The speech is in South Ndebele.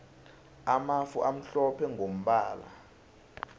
amafu amhlophe mgombala